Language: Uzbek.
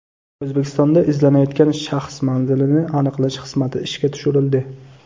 O‘zbekistonda izlanayotgan shaxs manzilini aniqlash xizmati ishga tushirildi.